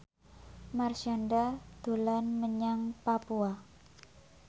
Marshanda dolan menyang Papua